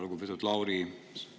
Lugupeetud Lauri!